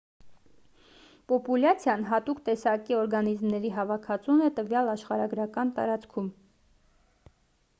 պոպուլյացիան հատուկ տեսակի օրգանիզմների հավաքածուն է տվյալ աշխարհագրական տարածքում